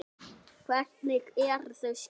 Hvernig eru þau skyld?